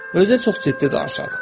Özü də çox ciddi danışaq.